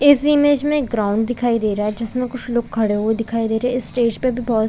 इस इमेज में एक ग्राउंड दिखाई दे रहा है जिसमें कुछ लोग खड़े हुए दिखाई दे रहे है इस स्टेज पे भी बहुत--